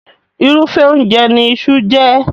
Irúfẹ́ oúnjẹ ní iṣu jẹ́.